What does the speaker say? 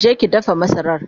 je ki dafa masarar!